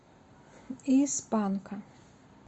из панка